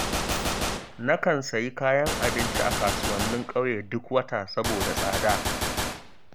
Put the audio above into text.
Nakan sayi kayan abinci a kasuwannin ƙauye duk wata saboda tsada